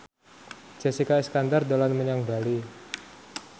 Jessica Iskandar dolan menyang Bali